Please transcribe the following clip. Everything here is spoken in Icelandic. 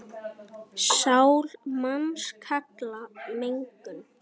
Sál manns kalla megum.